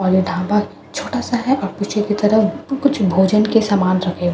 और ये ढाबा छोटा सा हैं और पीछे की तरफ कुछ भोजन के सामान रखे हुए हैं --